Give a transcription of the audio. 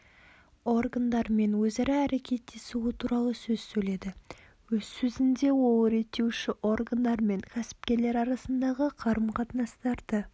органдармен өзара әрекеттесуі туралы сөз сөйледі өз сөзінде ол реттеуші органдар мен кәсіпкерлер арасындағы қарым-қатынастарды